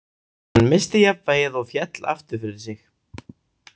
Hann missti jafnvægið og féll aftur fyrir sig.